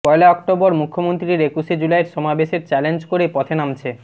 পয়লা October মুখ্যমন্ত্রীর একুশে জুলাইয়ের সমাবেশের চ্যালেঞ্জ করে পথে নামছে